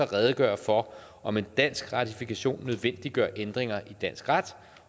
redegøre for om en dansk ratifikation nødvendiggør ændringer i dansk ret